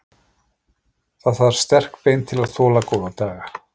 Það þarf sterk bein til að þola góða daga.